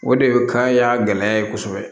O de kan y'a gɛlɛya ye kosɛbɛ